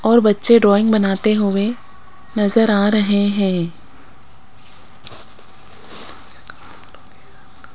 और बच्चे ड्राइंग बनाते हुएं नजर आ रहे हैं।